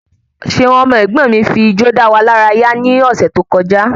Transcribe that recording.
Ṣeun ọmọ ẹ̀gbọ́n mi fi ijó dáwà lára yá ni ọ̀sẹ̀ tó kọjá